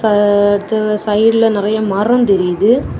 அ அடுத்து சைடுல நறைய மரம் தெரியுது.